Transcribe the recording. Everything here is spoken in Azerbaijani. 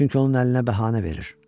Çünki onun əlinə bəhanə verir.